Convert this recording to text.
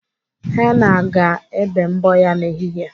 Henna ga-ebe mbọ ya n'ehihie.